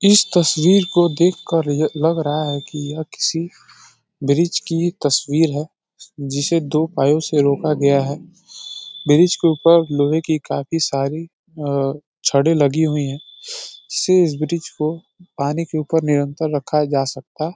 इस तस्वीर को देखकर य लग रहा है कि यह किसी ब्रिज की तस्वीर है जिसे दो पायों से रोका गया है। ब्रिज के ऊपर लोहे की काफी सारी अ छड़ें लगी हुई हैं जिससे इस ब्रिज को पानी के ऊपर निरंतर रखा जा सकता --